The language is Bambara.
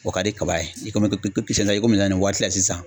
O ka di kaba ye nin waati la sisan